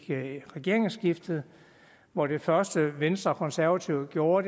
regeringsskiftet og det første venstre og konservative gjorde